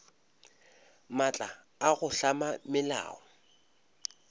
maatla a go hlama melao